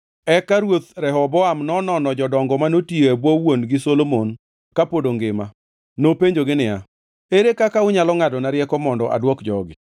Eka Ruoth Rehoboam nonono jodongo manotiyo e bwo wuon-gi Solomon kapod ongima. Nopenjogi niya, “Ere kaka unyalo ngʼadona rieko mondo adwok jogi?”